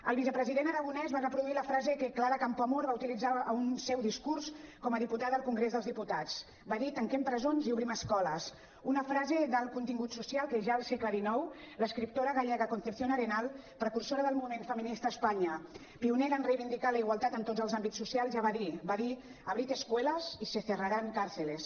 el vicepresident aragonès va reproduir la frase que clara campoamor va utilitzar en un seu discurs com a diputada al congrés dels diputats va dir tanquem presons i obrim escoles una frase d’alt contingut social que ja al segle xix l’escriptora gallega concepción arenal precursora del moviment feminista a espanya pionera en reivindicar la igualtat en tots els àmbits socials ja va dir va dir abrid escuelas y se cerrarán cárceles